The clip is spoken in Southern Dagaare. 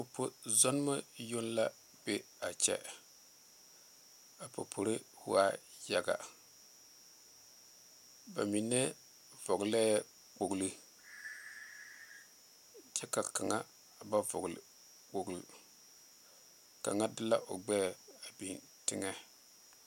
Popo zɔnma yoŋ la be a kyɛ a popore waa yaga ba mine vɔgle lɛɛ kpoŋlo kyɛ ka kaŋa ba vɔgle kpoŋle kaŋa de la o gbeɛ a biŋ teŋa.